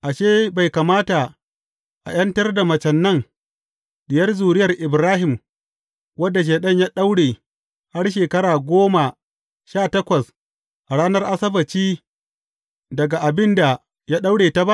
Ashe, bai kamata a ’yantar da macen nan, diyar zuriyar Ibrahim, wadda Shaiɗan ya daure, har shekara goma sha takwas, a ranar Asabbaci, daga abin da ya daure ta ba?